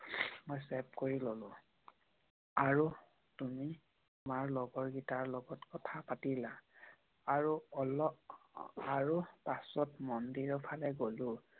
মই ছেভ কৰি ললো। আৰু তুমি তোমাৰ লগৰ কেইটাৰ লগত কথা পাতিলা। আৰু পাছত মন্দিৰৰ ফালে গোলোঁ।